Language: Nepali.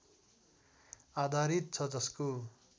आधारित छ जसको